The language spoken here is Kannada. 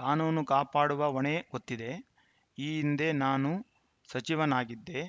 ಕಾನೂನು ಕಾಪಾಡುವ ಹೊಣೆ ಗೊತ್ತಿದೆ ಈ ಹಿಂದೆ ನಾನೂ ಸಚಿವನಾಗಿದ್ದೆ